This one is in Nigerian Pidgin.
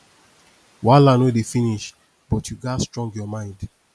wahala no dey finish but you gats strong your mind